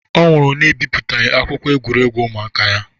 Ọ nwụrụ na-ebipụtaghị akwụkwọ egwuregwu ụmụaka ya